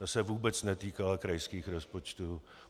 Ta se vůbec netýkala krajských rozpočtů.